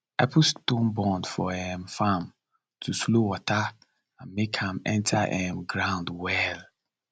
i put stone bund for um farm to slow water and make am enter um ground well